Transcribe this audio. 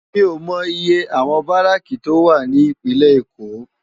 Mi ó mò iyé áwòn báráki tó wá ni Ipinlè Ékó